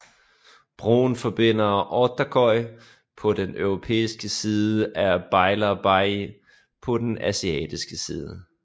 Broen forbinder Ortaköy på den europæiske side med Beylerbeyi på den asiatiske side